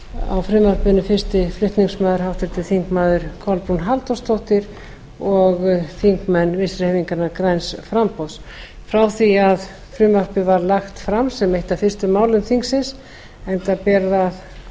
á frumvarpinu fyrsti flutningsmaður háttvirtir þingmenn kolbrún halldórsdóttir og þingmenn vinstri hreyfingarinnar græns framboðs frá því að frumvarpið var lagt fram sem eitt af fyrstu málum þingsins enda ber það